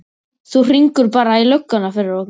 Þú hringir bara í lögguna fyrir okkur!